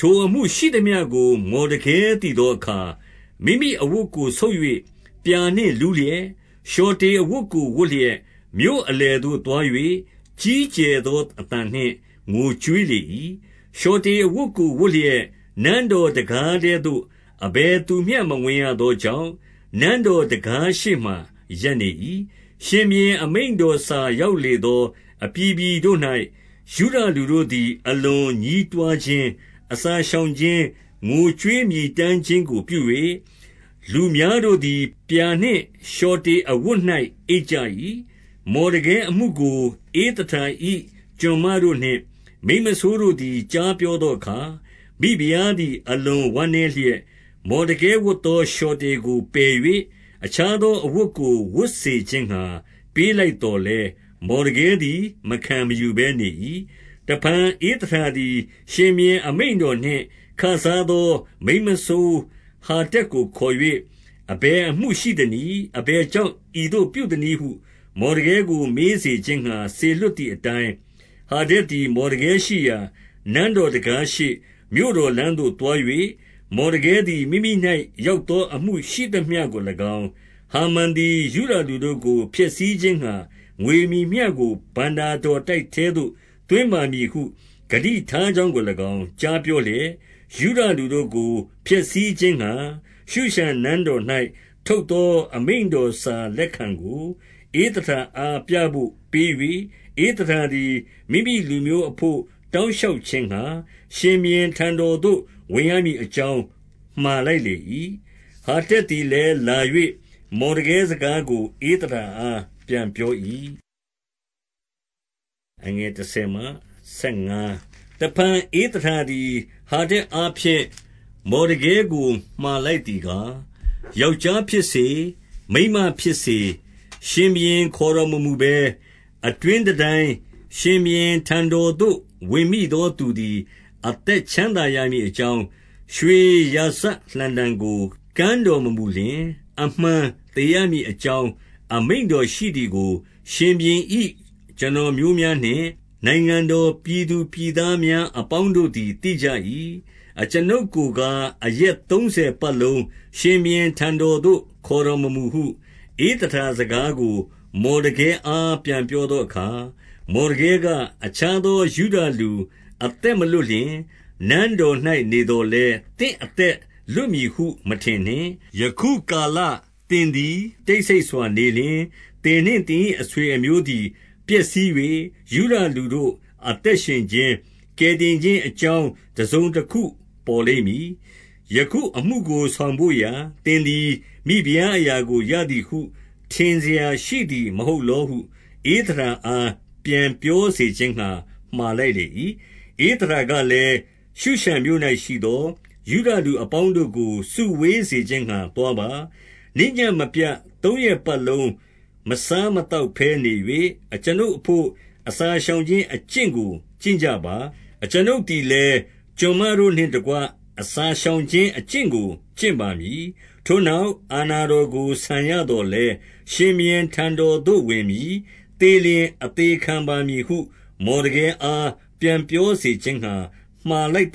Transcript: ထိုအမှုရှိသမျှကို မော်ဒကဲသိသောအခါ၊ မိမိ အဝတ်ကိုဆုတ်၍ ပြာနှင့်လူးလျက်၊ လျှော်တေအဝတ်ကို ဝတ်လျက်၊ မြို့အလယ်သို့သွား၍ ကြီးကျယ်သောအသံနှင့် ငိုကြွေးလေ၏။ 2 လျှော်တေအဝတ်ကိုဝတ်လျက် နန်းတော်တံခါး ထဲသို့ အဘယ်သူမျှ မဝင်ရသောကြောင့်၊ နန်းတော်တံခါး ရှေ့မှာ ရပ်နေ၏။ 3 ရှင်ဘုရင်အမိန့်တော်စာရောက်လေသော အပြည်ပြည်တို့၌ ယုဒလူတို့သည် အလွန်ညည်းတွားခြင်း၊ အစာရှောင်ခြင်း၊ ငိုကြွေးမြည်တမ်းခြင်းကိုပြု၍၊ လူများ တို့သည် ပြာနှင့်လျှော်တေအဝတ်၌ အိပ်ကြ၏။ 4 မော်ဒကဲအမှုကို ဧသတာ၏ ကျွန်မတို့နှင့် မိန်းမစိုးတို့သည် ကြားပြောသောအခါ၊ မိဖုရားသည် အလွန်ဝမ်းနည်းလျက်၊ မော်ဒကဲဝတ်သော လျှော်တေကို ပယ်၍ အခြားသောအဝတ်ကို ဝတ်စေခြင်းငှါ ပေးလိုက် သော်လည်း၊ မော်ဒကဲသည် မခံမယူဘဲနေ၏။ 5 တဖန် ဧသတာသည် ရှင်ဘုရင် အမိန့်တော်နှင့် ခစားသော မိန်းမစိုးဟာတက်ကို ခေါ်၍၊ အဘယ်အမှုရှိ သနည်း။ အဘယ်ကြောင့် ဤသို့ပြုသနည်းဟု မော်ဒကဲ ကို မေးစေခြင်းငှါ စေလွှတ်သည်အတိုင်း၊ 6 ဟာတက်သည် မော်ဒကဲရှိရာ နန်းတော်တံခါး ရှေ့၊ မြို့တော်လမ်းသို့သွား၍၊ 7 မော်ဒကဲသည် မိမိ၌ရောက်သော အမှုရှိသမျှကို၎င်း၊ ဟာမန်သည် ယုဒလူတို့ကို ဖျက်ဆီးခြင်းငှါ၊ ငွေ မည်မျှကို ဘဏ္ဍာတော်တိုက်ထဲသို့ သွင်းပါမည်ဟု ဂတိ ထားကြောင်းကို၎င်း ကြားပြောလျက်၊ 8 ယုဒလူတို့ကို ဖျက်ဆီးခြင်းငှါ၊ ရှုရှန်နန်းတော်၌ ထုတ်သော အမိန့်တော်စာလက်ခံကို ဧသတာအားပြဘို့ ပေး၍၊ ဧသတာသည် မိမိလူမျိုး အဘို့တောင်းလျှောက် ခြင်းငှါ၊ ရှင်ဘုရင်ထံသို့ ဝင်ရမည်အကြောင်း မှာလိုက် လေ၏။ 9 ဟာတက်သည်လည်းလာ၍ မော်ဒကဲစကားကို ဧသတာအား ပြန်ပြော၏။ 10 တဖန်ဧသတာသည် ဟာတက်အားဖြင့်၊ မော်ဒကဲကို မှာလိုက်သည်ကား၊ 11 ယောက်ျားဖြစ်စေ၊ မိန်းမဖြစ်စေ၊ ရှင်ဘုရင် ခေါ်တော်မမူဘဲ အတွင်းတန်တိုင်း၊ ရှင်ဘုရင်ထံတော်သို့ ဝင်မိသောသူသည် အသက်ချမ်းသာရမည်အကြောင်း၊ ရွှေရာဇလှံတံကို ကမ်းတော်မမူလျှင်၊ အမှန်သေရမည် အကြောင်း အမိန့်တော်ရှိသည်ကို၊ ရှင်ဘုရင်၏ ကျွန်တော် မျိုးများနှင့် နိုင်ငံတော်ပြည်သူပြည်သားများအပေါင်းတို့ သည် သိကြ၏။ အကျွန်ုပ်ကိုကား အရက်သုံးဆယ်ပတ်လုံး၊ ရှင်ဘုရင်ထံတော်သို့ ခေါ်တော်မမူဟု၊ 12 ဧသတာစကားကို မော်ဒကဲအား ပြန်ပြောသော အခါ၊ မော်ဒကဲက၊ အခြားသော ယုဒလူ အသက်မလွတ် လျှင်၊ 13 နန်းတော်၌နေသော်လည်း သင့်အသက်လွတ် မည်ဟု မထင်နှင့်။ 14 ယခုကာလသင်သည် တိတ်ဆိတ်စွာနေလျှင်၊ သင်နှင့်သင်၏ အဆွေအမျိုးသည် ပျက်စီး၍၊ ယုဒလူတို့ အသက်ရှင်ခြင်း၊ ကယ်တင်ခြင်း အကြောင်းတစုံတခု ပေါ်လိမ့်မည်။ ယခုအမှုကိုဆောင်ဘို့ရာ သင်သည် မိဖုရားအရာကိုရသည်ဟု ထင်စရာရှိသည်မဟုတ်လော ဟု ဧသတာအား ပြန်ပြောစေခြင်းငှါ မှာလိုက်၏။ 15 ဧသတာကလည်း၊ ရှုရှန်မြို့၌ရှိသော ယုဒလူ အပေါင်းတို့ကို စုဝေးစေခြင်းငှါသွားပါ။ နေ့ညဉ့်မပြတ် သုံးရက်ပတ်လုံး မစားမသောက်ဘဲနေ၍၊ အကျွန်ုပ်အဘို့ အစာရှောင်ခြင်းအကျင့်ကို ကျင့်ကြပါ။ အကျွန်ုပ်သည် လည်း ကျွန်မတို့နှင့်တကွ အစာရှောင်ခြင်းအကျင့်ကို ကျင့်ပါမည်။ ထိုနောက် အာဏာတော်ကို ဆန်ရသော် လည်း၊ ရှင်ဘုရင်ထံတော်သို့ ဝင်မည်။ သေလျှင် အသေခံ ပါမည်ဟု မော်ဒကဲအား ပြန်ပြောစေခြင်းငှါ မှာလိုက် သ